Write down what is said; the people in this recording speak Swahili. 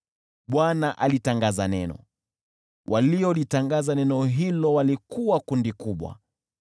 Bwana alitangaza neno, waliolitangaza neno hilo walikuwa kundi kubwa: